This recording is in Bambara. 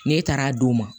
Ne taara d'o ma